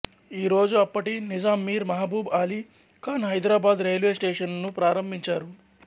ఈ రోజు అప్పటి నిజాం మీర్ మహబూబ్ ఆలీ ఖాన్ హైదరాబాదు రైల్వే స్టేషనును ప్రారంభించారు